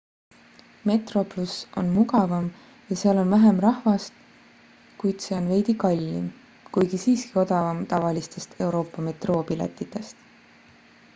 metroplus on mugavam ja seal on vähem rahvast kuid see on veidi kallim kuigi siiski odavam tavalistest euroopa metroopiletitest